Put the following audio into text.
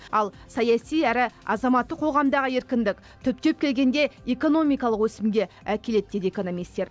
ал саяси әрі азаматтық қоғамдағы еркіндік түптеп келгенде экономикалық өсімге әкеледі дейді экономистер